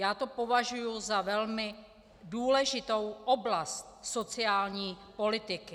Já to považuji za velmi důležitou oblast sociální politiky.